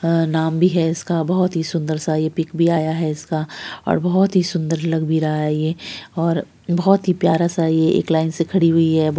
अ नाम भी है इसका बहुत ही सुंदर सा पिक भी आया है इसका और बहुत ही सुंदर लग भी रहा है ये और बहुत ही प्यारा सा ये एक लाइन से खड़ी हुई है।